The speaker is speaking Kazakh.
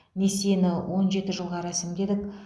несиені он жеті жылға рәсімдедік